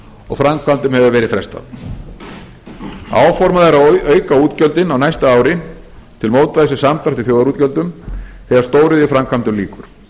og framkvæmdum hefur verið frestað áformað er að auka útgjöldin á næsta ári til mótvægis við samdrátt í þjóðarútgjöldum þegar stóriðjuframkvæmdum lýkur